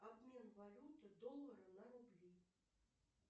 обмен валюты доллары на рубли